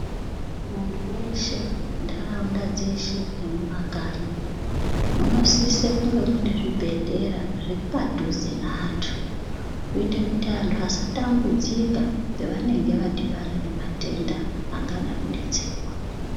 Muntu weshe ntaraunda dzeshe nemumakanyi munosise kunge mune zvibhedhlera zviripadhize neantu kuite kuti vantu vasatambudzika pavanenge vadhibana nematenda angadai kudetserwa.